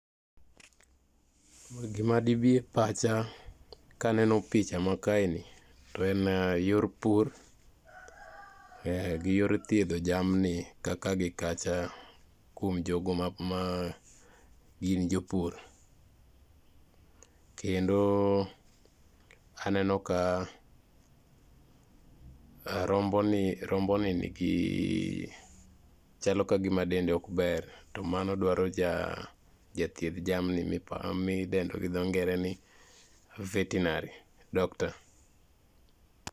Gima dibi e pacha kanane picha ma kaeni, to en yor pur gi yor thiedho jamni ka kaa gi kacha kuom jogo magin jopur. Kendo ane no ka, rombo ni nigi , chalo kagima dende ok ber to mano dwaro jathiedh jamni midendo gi dho ngere ni vertinary doctor.